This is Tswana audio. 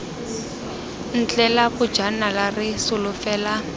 ntle la bojala re solofela